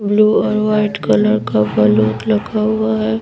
Blue और white colour का flute लगा हुआ है।